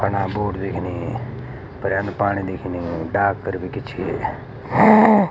फंडा बूट दिखनी पर्यामा पाणी दिखनी डाक कर भी किछी।